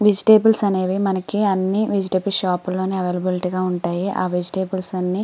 vegetables అన్ని మనకి vegetable shop ల్లోనే అవైలబుల్ గా ఉంటాయి.ఆ వెజిటల్స్ అన్ని --